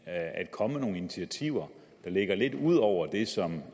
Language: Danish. at komme med nogle initiativer der ligger lidt ud over det som